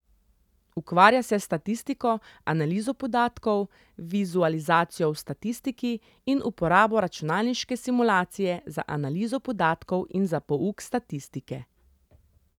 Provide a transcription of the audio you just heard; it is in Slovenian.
Ukvarja se s statistiko, analizo podatkov, vizualizacijo v statistiki in uporabo računalniške simulacije za analizo podatkov in za pouk statistike.